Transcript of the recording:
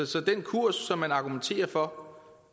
så den kurs som man argumenterer for